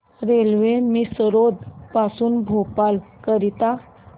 railway Misrod पासून भोपाळ करीता